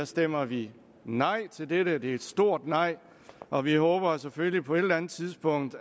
stemmer vi nej til dette det er et stort nej og vi håber selvfølgelig på et eller andet tidspunkt